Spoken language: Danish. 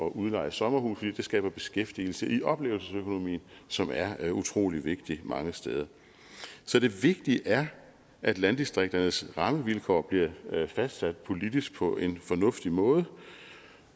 udleje sommerhuse for det skaber beskæftigelse i oplevelsesøkonomien som er er utrolig vigtig mange steder så det vigtige er at landdistrikternes rammevilkår bliver fastsat politisk på en fornuftig måde